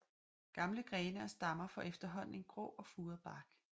Gamle grene og stammer får efterhånden en grå og furet bark